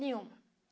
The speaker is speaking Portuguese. Nenhuma.